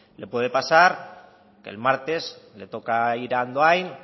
le puede pasar que el martes le toca ir a andoain